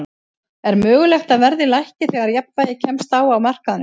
Er mögulegt að verðið lækki þegar jafnvægi kemst á á markaðnum?